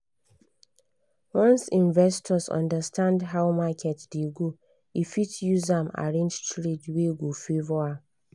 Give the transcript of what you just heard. once investor understand how market dey go e fit use am arrange trade wey go favour am.